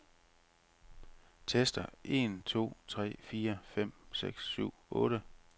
Tester en to tre fire fem seks syv otte.